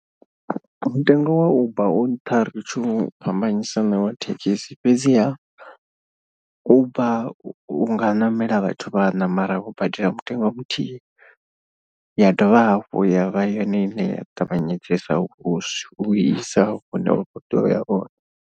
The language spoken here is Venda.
Mutengo wa uber u nṱha ri tshi u fhambanyisa na wa thekhisi fhedziha. Uber u nga namela vhathu vhaṋa mara u badela mutengo a muthihi ya dovha hafhu ya vha yone ine ya ṱavhanyedzesa u u isa hune wa kho tea uya hone.